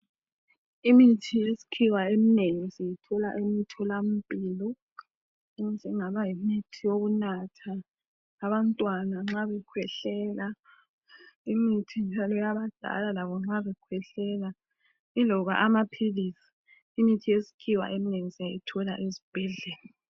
Imithi yesikhiwa eminengi siyithola emtholampilo enjengaba yimithi yokunatha . Abantwana nxa bekwehlela. Imith njalo yabadala labo nxa bekwehlela iloba amaphilisi . Imithi yesikhiwa eminengi siyayithola esibhedlela.